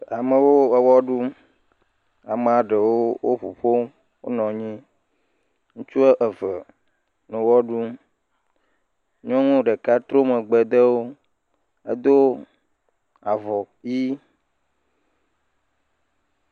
Amewo ewɔ ɖum. Ame ɖewo ʋuƒom, wonɔ anyi. Ŋutsu woame eve nɔ ɣe ɖum. Nyɔnu ɖeka trɔ megbe de wò. Edo avɔ ɣi.